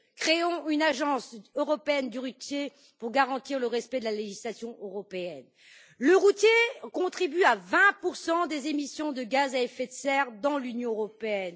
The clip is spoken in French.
Créons une agence européenne du routier pour garantir le respect de la législation européenne. Le routier contribue à hauteur de 20 aux émissions de gaz à effet de serre dans l'Union européenne.